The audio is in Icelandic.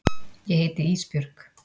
Ég heiti Ísbjörg.